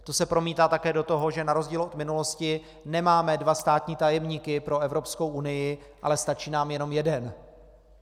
To se promítá také do toho, že na rozdíl od minulosti nemáme dva státní tajemníky pro Evropskou unii, ale stačí nám jenom jeden.